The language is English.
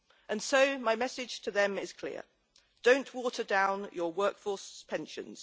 And so my message to them is clear don't water down your work force's pensions.